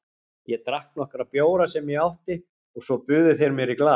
Ég drakk nokkra bjóra sem ég átti og svo buðu þeir mér í glas.